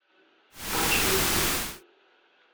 починку